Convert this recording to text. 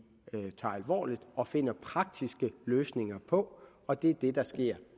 tager alvorligt og finder praktiske løsninger på og det er det der sker